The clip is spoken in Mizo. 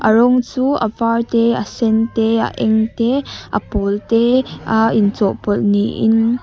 a rawng chu a var te asen te a eng te a pawl te a in chawhpawlh ni in.